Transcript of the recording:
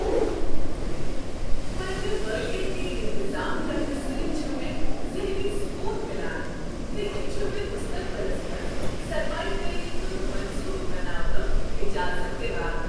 پننہ مٲلیٲتی انتظام کرنہٕ سۭتۍ چھ مےٚ ذہنی سکون میلان تہٕ یہ چھ مےٚ مستقبلس منٛز سرمایہ کٲری ہنٛد منصوبہٕ بناونک اجازت دوان۔